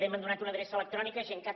m’han donat una adreça electrònica gencat